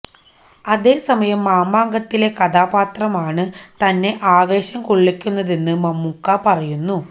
അതേസമയം മാമാങ്കത്തിലെ കഥാപാത്രമാണ് തന്നെ ആവേശം കൊളളിക്കുന്നതെന്ന് മമ്മൂക്ക പറയുന്നു